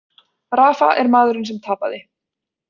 Rafa er maðurinn sem tapaði